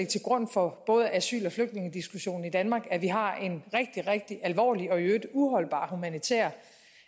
til grund for både asyl og flygtningediskussionen i danmark at vi har en rigtig rigtig alvorlig og i øvrigt uholdbar humanitær